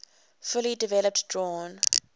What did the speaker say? fully developed drawn